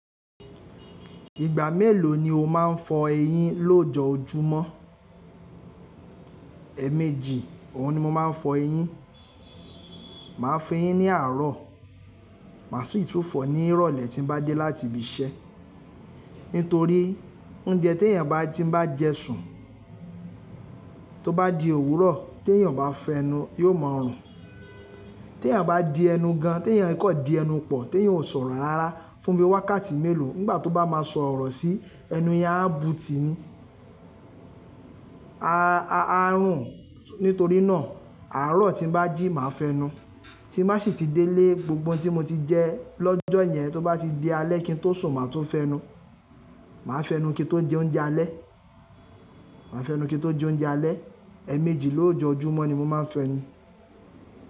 Ìgbà mélòó ni o máa ń fọ eyín lojọ́júmọ́? Ẹ̀ẹ̀méjì òun ni mo máa ń fọ eyín. Máa fọ eyín ní àárọ̀, mà sì tún fọ ní ìrọ̀lẹ́ tí n bá dé láti ibi iṣẹ́. Nítorí oúnjẹ tí èèyàn bá ti bá jẹ sùn, tó bá di òwúrọ̀ tí èèyàn bá fẹnu yóò ma rùn. Tí èèyàn bá di ẹnu gan, tí èèyàn kò di ẹnu pọ̀, tí èèyàn ò sọ̀rọ̀ rárá fún bíi wákàtí mélòó, nígbà tó bá máa sọ̀rọ̀ sí ẹnu yen a bú tì ní. A a rùn nítorí náà àárọ̀ tí n bá jí màá fẹnu, tí má sì ti délé gbogbo ohun tí mo ti jẹ lọ́jọ́ yẹn tó bá ti di alẹ́ kí n tó sùn màá tún fẹnu. Màá fẹnu kí n tó jẹ oúnjẹ alẹ́, màá fẹnu kí n tó jẹ oúnjẹ alẹ́. Ẹ̀ẹ̀méjì lójojúmọ́ ni mo máa ń fẹnu.